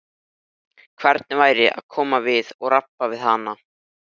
Hilmar sagði að það væri óþarfi.